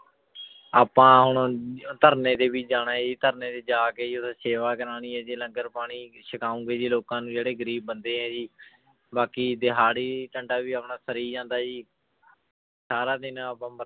ਆਪਾਂ ਹੁਣ ਧਰਨੇ ਤੇ ਵੀ ਜਾਣਾ ਹੈ ਜੀ ਧਰਨੇ ਤੇ ਜਾ ਕੇ ਜੀ ਉੱਥੇ ਸੇਵਾ ਕਰਵਾਉਣੀ ਹੈ ਜੀ ਲੰਗਰ ਪਾਣੀ ਸਕਾਓਂਗੇ ਜੀ ਲੋਕਾਂ ਨੂੰ ਜਿਹੜੇ ਗ਼ਰੀਬ ਬੰਦੇ ਹੈ ਜੀ ਬਾਕੀ ਦਿਹਾੜੀ ਵੀ ਆਪਣਾ ਸਰੀ ਜਾਂਦਾ ਜੀ ਸਾਰਾ ਦਿਨ ਆਪਾਂ